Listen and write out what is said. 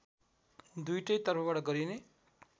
दुईवटै तर्फबाट गरिने